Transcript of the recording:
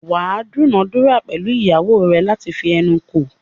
wà á dúnàádúrà pẹ̀lú ìyàwó rẹ láti fi ẹnu kò.